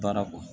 Baara kɔ